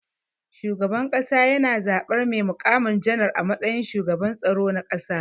Shugaban kasa yana zaban mai mukami janar a matsayin shugaban tsaro na ƙasa.